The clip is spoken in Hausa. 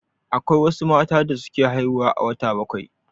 Akwai wasu matan da suke haihuwa a wata bakwai.